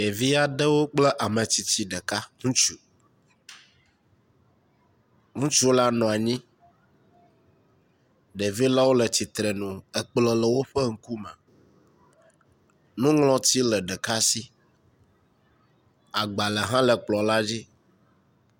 Ɖevi aɖewo kple ametsitsi ɖeka ŋutsu, ŋutsu la nɔ anyi, ɖevi lawo le tsitre nu ekplɔ le woƒe ŋkume, nuŋlɔti le ɖeka si agbalẽ hã le kplɔ la dzi.